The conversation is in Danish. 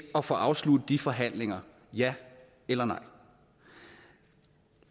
at få afsluttet de forhandlinger ja eller